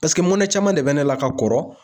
Paseke mɔnɛ caman de bɛ ne la ka kɔrɔ